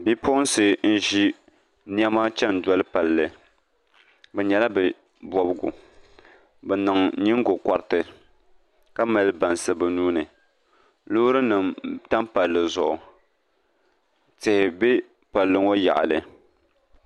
Bipuɣunsi n ʒi niɛma chɛni doli palli bi nyɛla bi bobgu bi niŋ nyingokoriti ka mali bansi bi nuuni loori nim tam palli zuɣu tihi bɛ palli ŋɔ yaɣali